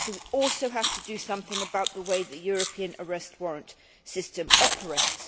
We also have to do something about the way the European Arrest Warrant system operates.